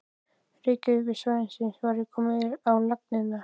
Reykjavíkursvæðisins var komið á laggirnar á